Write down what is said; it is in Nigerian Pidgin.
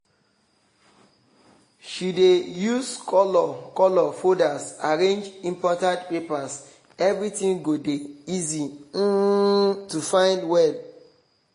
she dey use color color folders arrange important papers everything go dey easy um to find well